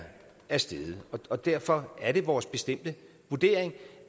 er steget og derfor er det vores bestemte vurdering